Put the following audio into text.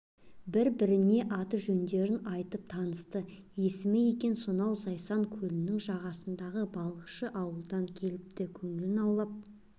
бір-біріне аты-жөндерін айтып танысты есімі екен сонау зайсан көлінің жағасындағы балықшы ауылдан келіпті көңілін аулап